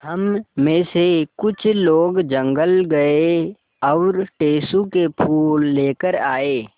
हम मे से कुछ लोग जंगल गये और टेसु के फूल लेकर आये